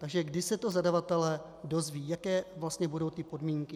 Takže kdy se to zadavatelé dozvědí, jaké vlastně budou ty podmínky?